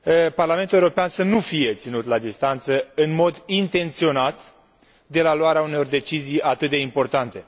Parlamentul European să nu fie ținut la distanță, în mod intenționat, de la luarea unor decizii atât de importante.